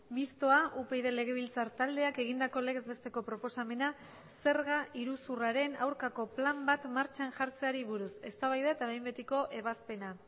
mistoa upyd legebiltzar taldeak egindako legez besteko proposamena zerga iruzurraren aurkako plan bat martxan jartzeari buruz eztabaida eta behin betiko ebazpena